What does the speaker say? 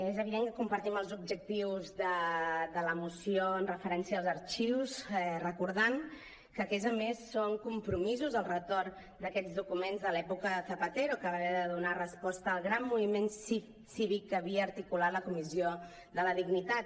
és evident que compartim els objectius de la moció amb referència als arxius recordant que aquests a més són compromisos el retorn d’aquests documents de l’època de zapatero que va haver de donar resposta al gran moviment cívic que havia articulat la comissió de la dignitat